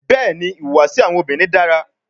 Bẹẹni, ihuwasi awọn obinrin dara